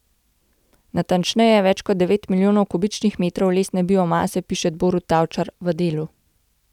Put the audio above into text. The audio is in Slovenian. Natančneje, več kot devet milijonov kubičnih metrov lesne biomase, piše Borut Tavčar v Delu.